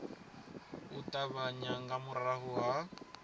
u ṱavhanya nga murahu ha